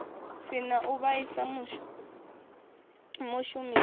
si na u vhaisa mushumisi